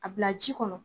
A bila ji kɔnɔ